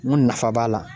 N ko nafa b'a la